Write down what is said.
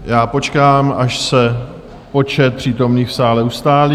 Já počkám, až se počet přítomných v sále ustálí.